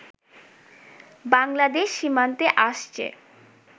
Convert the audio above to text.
বাংলাদেশ সীমান্তে আসছে